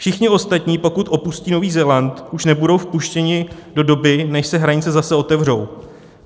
Všichni ostatní, pokud opustí Nový Zéland, už nebudou vpuštěni do doby, než se hranice zase otevřou.